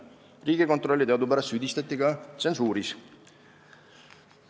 Riigikontrolli teadupärast süüdistati ka tsensuuris.